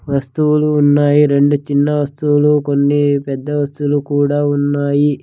వస్తువులు ఉన్నాయి రెండు చిన్న వస్తువులు కొన్ని పెద్ద వస్తువులు కూడా ఉన్నాయి.